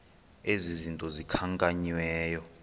ezi zinto zikhankanyiweyo